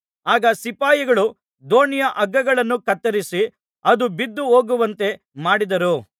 ಆಗ ಸಿಪಾಯಿಗಳು ದೋಣಿಯ ಹಗ್ಗಗಳನ್ನು ಕತ್ತರಿಸಿ ಅದು ಬಿದ್ದು ಹೋಗುವಂತೆ ಮಾಡಿದರು